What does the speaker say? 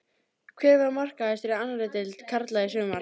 Hver var markahæstur í annarri deild karla í sumar?